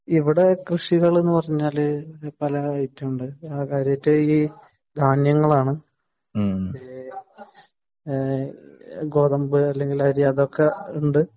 ഇവിടെ കൃഷി എന്ന് പറഞ്ഞാൽ പല ഐറ്റങ്ങൾ ഉണ്ട് . പ്രധാനായിട്ട് ധാന്യങ്ങളാണ്. ഗോതമ്പ് അല്ലെങ്കിൽ അരി അതൊക്കെയുണ്ട്